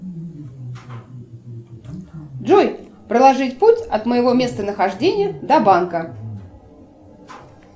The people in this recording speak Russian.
джой проложить путь от моего места нахождения до банка